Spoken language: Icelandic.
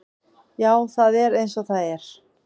Já, það er eins og það er.